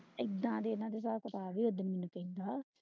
ਏਦਾਂ ਦੇ ਇਹਨਾਂ ਦੇ ਸਾਬ ਕਿਤਾਬ ਈ